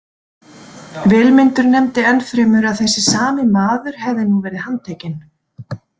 Vilmundur nefndi ennfremur að þessi sami maður hefði nú verið handtekinn.